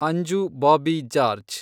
Anju Bobby George